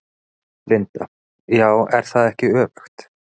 Linda: Já, er það ekki öfugt?